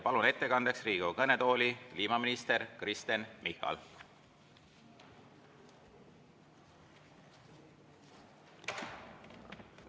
Palun ettekandjaks Riigikogu kõnetooli kliimaminister Kristen Michali.